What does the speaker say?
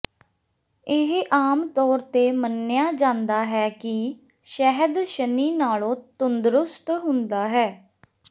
ਇਹ ਆਮ ਤੌਰ ਤੇ ਮੰਨਿਆ ਜਾਂਦਾ ਹੈ ਕਿ ਸ਼ਹਿਦ ਸ਼ਨੀ ਨਾਲੋਂ ਤੰਦਰੁਸਤ ਹੁੰਦਾ ਹੈ